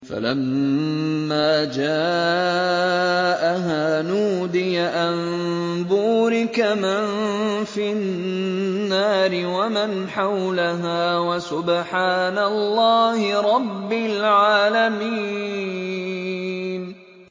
فَلَمَّا جَاءَهَا نُودِيَ أَن بُورِكَ مَن فِي النَّارِ وَمَنْ حَوْلَهَا وَسُبْحَانَ اللَّهِ رَبِّ الْعَالَمِينَ